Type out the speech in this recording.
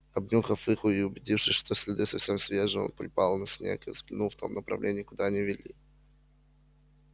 обнюхав их и убедившись что следы совсем свежие он припал на снег и взглянул в том направлении куда они вели